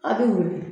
A' bɛ wili